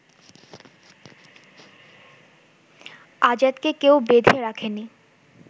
আজাদকে কেউ বেঁধে রাখেনি